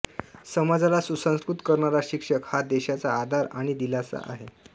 समाजाला सुसंस्कृत करणारा शिक्षक हा देशाचा आधार आणि दिलासा आहे